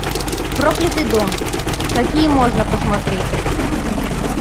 проклятый дом какие можно посмотреть